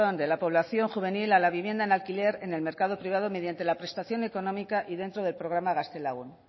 de la población juvenil a la vivienda en alquiler en el mercado privado mediante la prestación económica y dentro del programa gaztelagun